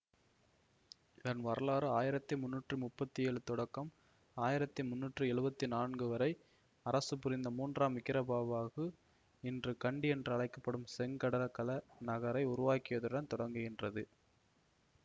இதன் வரலாறு ஆயிரத்தி மூன்னுற்றி முப்பத்தி ஏழு தொடக்கம் ஆயிரத்தி மூன்னுற்றி எழுபத்தி நாலு வரை அரசு புரிந்த மூன்றாம் விக்கிரமபாபாகு இன்று கண்டி என்று அழைக்க படும் செங்கடகல நகரை உருவாக்கியதுடன் தொடங்குகின்றது